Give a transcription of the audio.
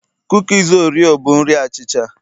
kukis oreo bụ nri achicha